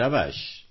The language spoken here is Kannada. ಶಭಾಷ್